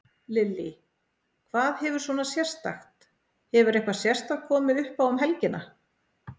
Lillý: Hvað hefur svona sérstakt, hefur eitthvað sérstakt komið uppá um helgina?